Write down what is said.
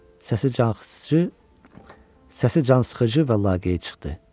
Səsi cansıxıcı və laqeyd çıxdı.